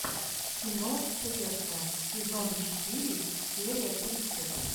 кино пресса сезон четыре серия тридцать